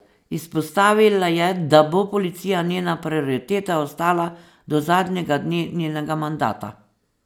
Izpostavila je, da bo policija njena prioriteta ostala do zadnjega dne njenega mandata.